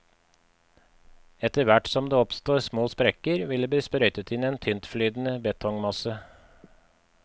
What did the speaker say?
Etterhvert som det oppstår små sprekker, vil det bli sprøytet inn en tyntflytende betongmasse.